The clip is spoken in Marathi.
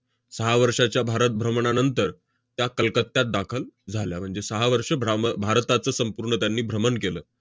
सहा वर्षाच्या भारत भ्रमणानंतर त्या कलकत्त्यात दाखल झाल्या, म्हणजे सहा वर्ष भ्राम~ भारताचं संपूर्ण त्यांनी भ्रमण केलं.